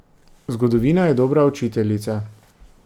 Zgodovina je dobra učiteljica.